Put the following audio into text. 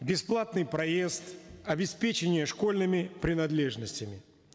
бесплатный проезд обеспечение школьными принадлежностями